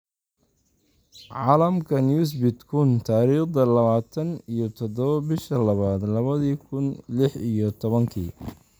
Caalamka Newsbeat kuun , tariqdha lawatan iyo tadhawo bishaa lawad lawadhi kuun liix iyo tobaanki